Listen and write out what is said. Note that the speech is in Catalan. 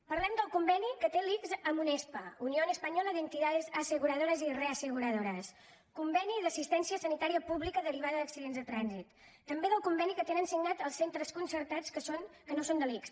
parlem del conveni que té l’ics amb unespa unión española de entidades aseguradoras y reaseguradoras conveni d’assistència sanitària pública derivada d’accidents de trànsit també del conveni que tenen signat els centres concertats que no són de l’ics